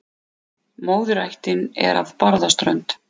Móðurættin er af Barðaströnd.